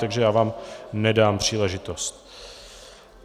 Takže já vám nedám příležitost.